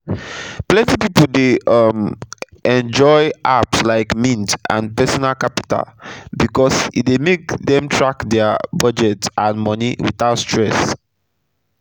plenty pipu dey um enjoy apps like mint and personal capital becos e dey make dem track dia budget and moni wit out stress